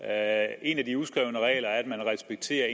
er en af de uskrevne regler jo at man respekterer